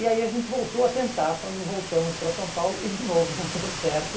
E aí a gente voltou a tentar quando voltamos para São Paulo e de novo não deu certo.